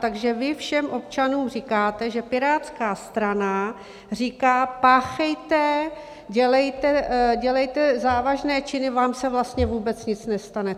Takže vy všem občanům říkáte, že Pirátská strana říká: Páchejte, dělejte závažné činy, vám se vlastně vůbec nic nestane.